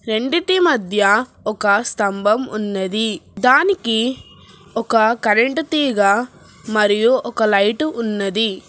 రెండిటి మధ్య ఒక స్తంభం ఉన్నది దానికి ఒక కరెంటు తీగ మరియు ఒక లైటు ఉన్నది.